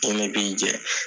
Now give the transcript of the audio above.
Mun ne b'i jɛ?